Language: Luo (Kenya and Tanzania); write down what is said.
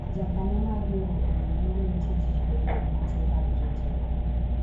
jakanyo mar riwruok no ne omi tij yweyo ute mag jotelo